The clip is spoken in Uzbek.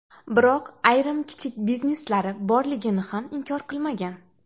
Biroq ayrim kichik bizneslari borligini ham inkor qilmagan.